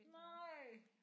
Nej